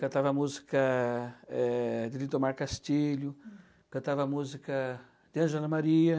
Cantava música eh, do Lindomar Castilho, cantava música de Angela Maria.